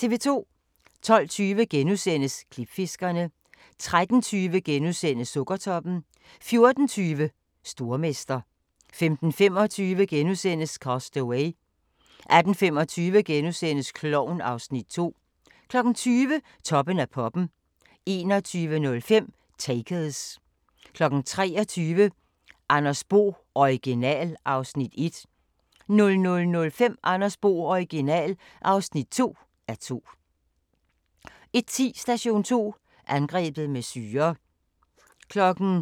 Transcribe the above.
12:20: Klipfiskerne * 13:20: Sukkertoppen * 14:20: Stormester 15:25: Cast Away * 18:25: Klovn (Afs. 2)* 20:00: Toppen af poppen 21:05: Takers 23:00: Andreas Bo - Original (1:2) 00:05: Andreas Bo - Original (2:2) 01:10: Station 2: Angrebet med syre